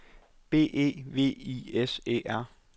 B E V I S E R